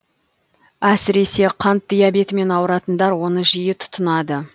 әсіресе қант диабетімен ауыратындар оны жиі тұтынады